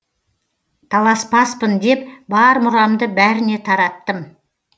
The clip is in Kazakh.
таласпаспын деп бар мұрамды бәріне тараттым